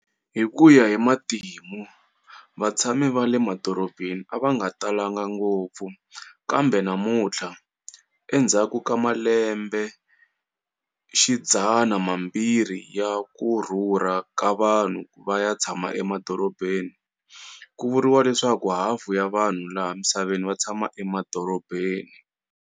Hikuya himatimu, vatshami va le madorobheni avanga talanga ngopfu, kambe namunthla, endzhaku ka malembe xidzana mambirhi ya kurhurha kavanhu vaya tshama emadorobheni, kuvuriwa leswaku hafu ya vanhu laha misaveni vatshama emadorobheni.